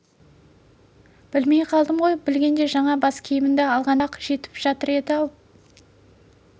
білмей қалдым ғой білгенде жаңа бас киімімді алғанда соның өзі-ақ жетіп жатыр еді-ау